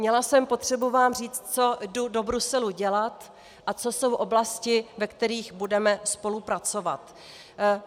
Měla jsem potřebu vám říct, co jdu do Bruselu dělat a co jsou oblasti, ve kterých budeme spolupracovat.